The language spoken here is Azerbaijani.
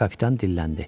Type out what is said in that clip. Kapitan dilləndi.